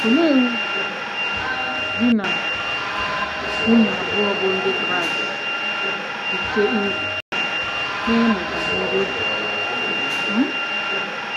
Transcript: Olee uru um di na nwunye abụọ bụ́ Ndị Kraịst rite uru n’ịmụ banyere obiọma? um